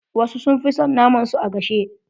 Wasu sun fi son fi son naman su a gashe.